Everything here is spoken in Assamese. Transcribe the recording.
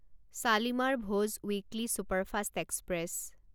Shalimar Bhuj weekly superfast express